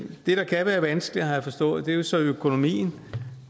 det der kan være vanskeligt har jeg forstået er jo så økonomien